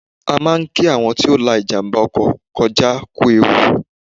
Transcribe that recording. A máa ń kí àwọn tí ó la ìjàmbá ọkọ̀ kọjá kú ewu